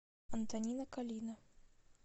антонина калина